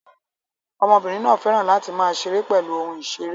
Ọmọbìnrin náà fẹ́ràn láti máa ṣeré pẹ̀lú ohun ìṣeré